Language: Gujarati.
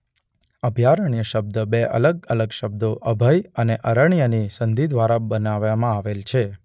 અભયારણ્ય શબ્દ બે અલગ અલગ શબ્દો અભય અને અરણ્ય ની સંધિં દ્વારા બનાવવામાં આવેલ છે..